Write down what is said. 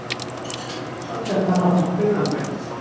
Svo hélt hann áfram hlaupunum.